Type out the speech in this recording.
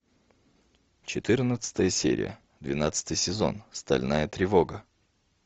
четырнадцатая серия двенадцатый сезон стальная тревога